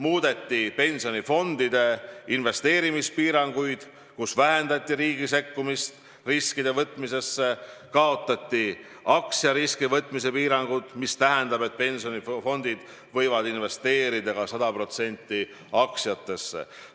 Muudeti pensionifondide investeerimispiiranguid, vähendati riigi sekkumist riskide võtmisesse, kaotati aktsiariski võtmise piirangud, mis tähendab, et pensionifondid võivad investeerida ka 100% aktsiatesse.